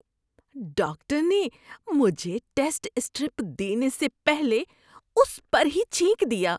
Doctor نے مجھے test strip دینے سے پہلے اس پر ہی چھینک دیا۔